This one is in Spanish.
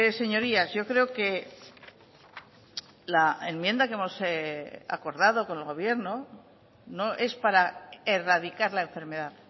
señorías yo creo que la enmienda que hemos acordado con el gobierno no es para erradicar la enfermedad